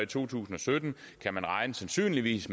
to tusind og sytten at man sandsynligvis